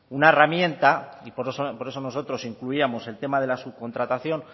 una herramienta y por eso nosotros incluíamos el tema de la subcontratación